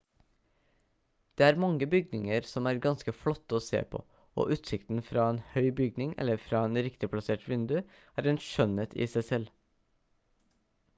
det er mange bygninger som er ganske flotte å se på og utsikten fra en høy bygning eller fra et riktig plassert vindu er en skjønnhet i seg selv